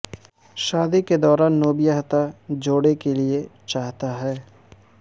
شادی کے دوران نوبیاہتا جوڑے کے لئے چاہتا ہے